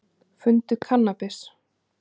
Fundu kannabis